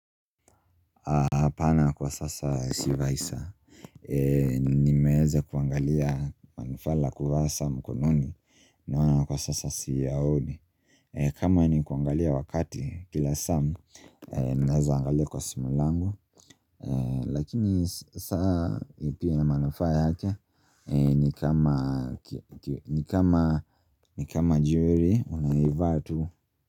Hapana kwa sasa sivai saa. Nimeweza kuangalia manufaa la kuvaa saa mkononi, naona kwa sasa siyaoni. Kama ni kuangalia wakati kila saa, ninaweza angalia kwa simu langu Lakini saa pia ina manufaa yake, ni kama jewelry, unaivaa tu.